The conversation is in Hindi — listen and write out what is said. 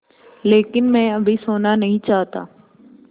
लेकिन मैं अभी सोना नहीं चाहता